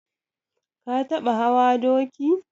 Ka taɓa hawa doki?